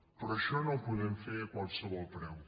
però això no ho podem fer a qualsevol preu